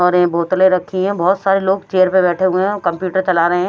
और ये बोतले रखी हैं बहोत सारे लोग चेयर पे बैठे हुए हैं कंप्यूटर चला रहे हैं।